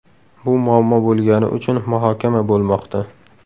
Bu muammo bo‘lgani uchun muhokama bo‘lmoqda.